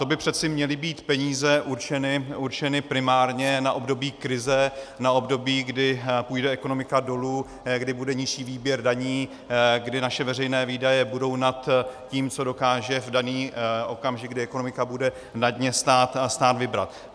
To by přeci měly být peníze určené primárně na období krize, na období, kdy půjde ekonomika dolů, kdy bude nižší výběr daní, kdy naše veřejné výdaje budou nad tím, co dokáže v daný okamžik, kdy ekonomika bude na dně, stát vybrat.